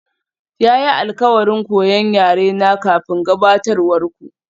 Ya yi alkawarin koyan yarena kafin gabatarwar ku.